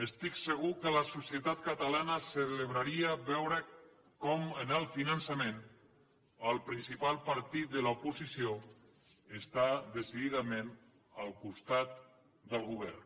estic segur que la societat catalana celebraria veure com en el finançament el principal partit de l’oposició està decididament al costat del govern